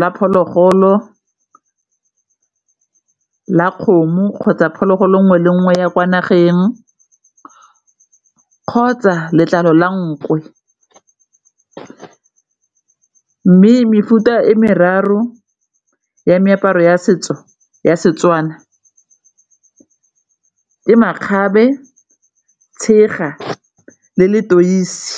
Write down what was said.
la phologolo ke la kgomo kgotsa phologolo nngwe le nngwe ya kwa nageng kgotsa letlalo la nku le mme ke merero ya meaparo ya setso ya Setswana ke makgabe, tshega le letoisi.